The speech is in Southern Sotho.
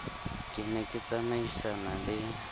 ke ne ke tsamaisana le